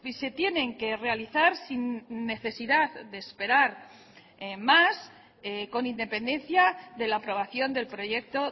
se tienen que realizar sin necesidad de esperar más con independencia de la aprobación del proyecto